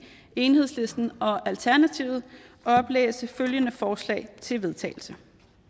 enhedslisten og alternativet oplæse følgende forslag til vedtagelse